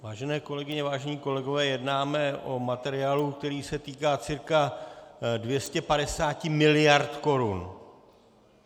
Vážené kolegyně, vážení kolegové, jednáme o materiálu, který se týká cca 250 miliard korun.